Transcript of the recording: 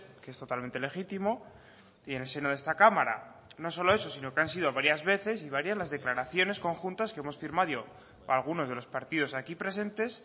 que es totalmente legítimo y en el seno de esta cámara no solo eso sino que han sido varias veces y varias las declaraciones conjuntas que hemos firmado algunos de los partidos aquí presentes